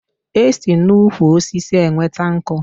E si n'ukwu osisi enweta nkú